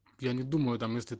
я не думаю там если